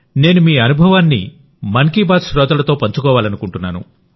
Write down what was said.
నేను మీ అనుభవాన్ని మన్ కీ బాత్ శ్రోతలకు పంచుకోవాలనుకుంటున్నాను